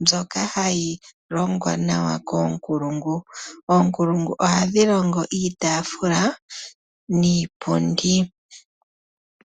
mbyoka hayi longwa nawa koonkulungu. Oonkulungu ohadhi longo iitaafula niipundi.